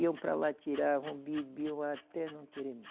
Iam para lá, tiravam, bebiam até não querer mais.